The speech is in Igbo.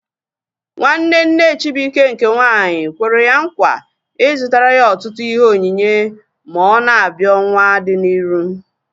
Nwanne nne Chibuike nke nwaanyị kwere ya nkwa ị zụtara ya ọtụtụ ihe onyinye ma ọ na-abịa ọnwaa dị n'iru